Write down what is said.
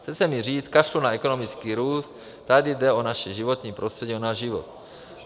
Chce se mi říct "kašlu na ekonomický růst", tady jde o naše životní prostředí, o náš život.